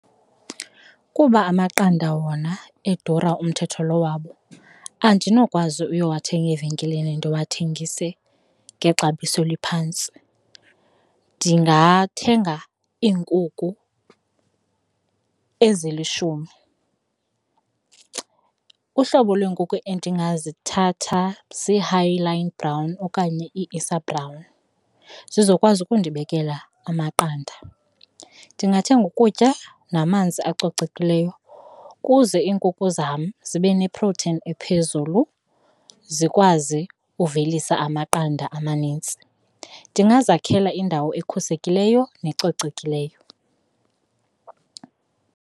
Kuba amaqanda wona edura umthetho lo wawo, andinokwazi uyowathenga evenkileni ndiwathengise ngexabiso eliphantsi. Ndingathenga iinkukhu ezilishumi. Uhlobo lwenkukhu endingazithatha zii-Hy-Line Brown okanye ii-ISA Brown zizokwazi ukundibekela amaqanda. Ndingathenga ukutya namanzi acocekileyo kuze iinkukhu zam zibe nephroteyini ephezulu, zikwazi ukuvelisa amaqanda amanintsi. Ndingazakhela indawo ekhusekileyo nezicocekileyo.